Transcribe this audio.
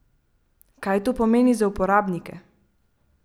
Kaj to pomeni za uporabnike?